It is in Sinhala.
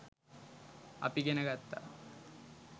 අපි ඉගෙන ගත්තා.